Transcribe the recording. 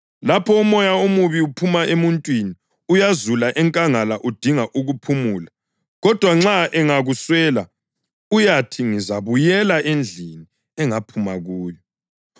Lapho umoya omubi uphuma emuntwini, uyazula enkangala udinga ukuphumula, kodwa nxa ungakuswela, uyathi ‘Ngizabuyela endlini engaphuma kuyo.’